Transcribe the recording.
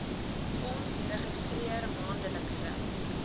fonds registreer maandelikse